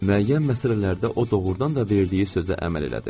Müəyyən məsələlərdə o doğurdan da verdiyi sözə əməl elədi.